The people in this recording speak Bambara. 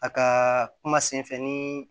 A ka kuma senfɛ nii